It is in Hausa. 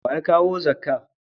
Wa ya kawo zakka